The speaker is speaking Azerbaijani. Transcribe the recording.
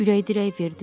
Ürək-dirək verdim.